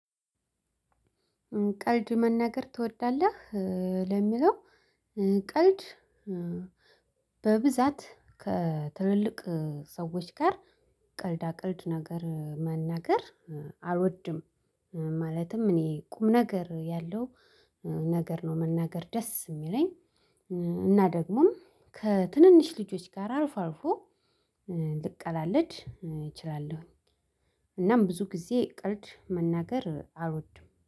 ቀልድ መናገር ትወዳለህ ለሚለው ቀልድ በብዛት ከትልልቅ ሰዎች ጋር ቀልዳ ቀልድ ነገር መናገር አልወድም። ማለትም እኔ ቁም ነገር ያለው ነገር ነው መናገር ደስ ሚለኝ። እና ደግሞም ከትንንሽ ልጆች ጋር አልፎአልፎ ልቀላለድ እችላለሁ። እናም ብዙ ጊዜ ቀልድ መናገር አልወድም